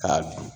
K'a dun